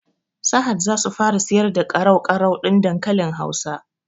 Sahad zasu fara siyar da ƙarau-ƙarau ɗin dankalin hausa